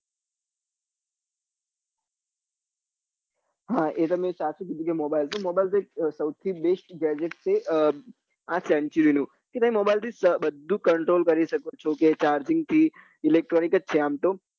હા એ તમે સાચું કીધું કે mobile એ થી mobile એક સૌથી best gadget છે આ century નું કે તમે mobile થી બધું control કરી શકો છો કે charging થી electronic જ છે આમ તો